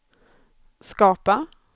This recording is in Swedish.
skapa